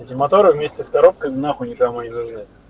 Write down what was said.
моторы вместе с коробкой нахуй никому не нужны